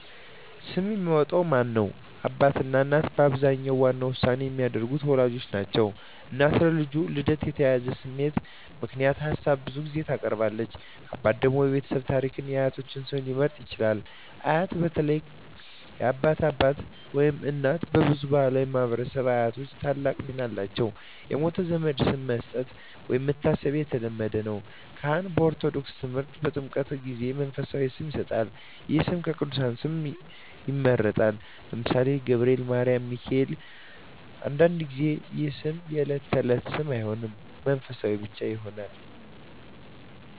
ስም የሚያወጣው ማን ነው? አባትና እናት በአብዛኛው ዋና ውሳኔ የሚያደርጉት ወላጆች ናቸው። እናት በልጁ ልደት የተያያዘ ስሜት ምክንያት ሀሳብ ብዙ ጊዜ ታቀርባለች። አባት ደግሞ የቤተሰብ ታሪክን እና የአያቶች ስም ሊመርጥ ይችላል። አያት (በተለይ የአባት አባት/እናት) በብዙ ባሕላዊ ማኅበረሰቦች አያቶች ታላቅ ሚና አላቸው። የሞተ ዘመድ ስም መስጠት (መታሰቢያ) የተለመደ ነው። ካህን (በኦርቶዶክስ ተምህርት) በጥምቀት ጊዜ መንፈሳዊ ስም ይሰጣል። ይህ ስም ከቅዱሳን ስም ይመረጣል (ለምሳሌ፦ ገብርኤል፣ ማርያም፣ ሚካኤል)። አንዳንድ ጊዜ ይህ ስም የዕለት ተዕለት ስም አይሆንም፣ መንፈሳዊ ብቻ ይሆናል።